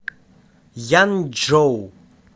янчжоу